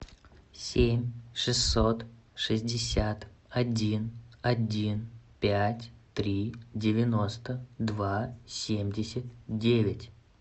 семь шестьсот шестьдесят один один пять три девяносто два семьдесят девять